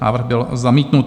Návrh byl zamítnut.